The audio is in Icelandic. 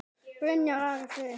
Byrjar Ari Freyr?